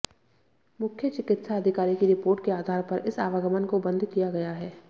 मुख्य चिकित्सा अधिकारी की रिपोर्ट के आधार पर इस आवागमन को बंद किया गया है